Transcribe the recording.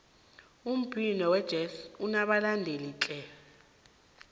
umbhino wejezi unabalandeli tle